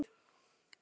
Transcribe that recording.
ylurinn ljúfi.